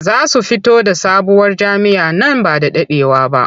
Za su fito da sabuwar jam'iyya nan ba da daɗewa ba.